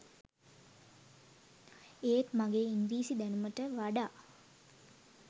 ඒත් මගේ ඉංග්‍රීසි දැනුමට වඩා